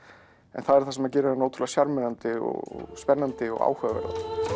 en það er það sem gerir hana ótrúlega sjarmerandi og spennandi og áhugaverða